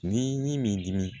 Ni min dimi